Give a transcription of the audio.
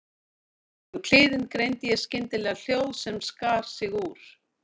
Í gegnum kliðinn greindi ég skyndilega hljóð sem skar sig úr.